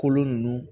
Kolo ninnu